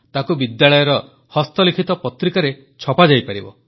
ତାକୁ ବିଦ୍ୟାଳୟର ହସ୍ତଲିଖିତ ପତ୍ରିକାରେ ଛପାଯାଇପାରିବ